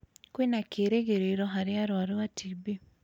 Kwĩna kĩĩrĩgĩrĩro harĩ arũaru a TB.